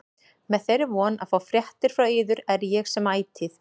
Með þeirri von að fá fréttir frá yður er ég sem ætíð